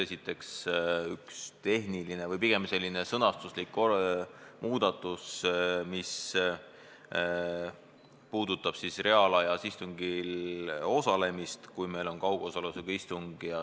Esiteks, üks tehniline või pigem sõnastuslik muudatus puudutab reaalajas istungil osalemist, kui meil on kaugosalusega istung.